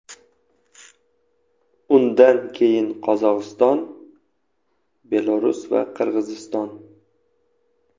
Undan keyin Qozog‘iston, Belarus va Qirg‘iziston.